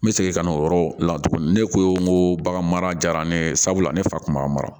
N bɛ segin ka n'o yɔrɔ la tugun ne ko n ko bagan mara ne ye sabula ne fa kun b'a mara